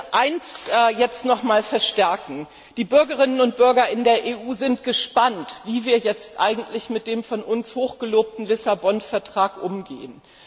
Ich möchte eins nochmals verstärken Die Bürgerinnen und Bürger in der EU sind gespannt, wie wir jetzt mit dem von uns hoch gelobten Lissabon Vertrag umgehen.